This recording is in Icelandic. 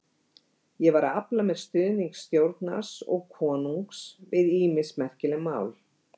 Ég var að afla mér stuðnings stjórnar og konungs við ýmis merkileg mál.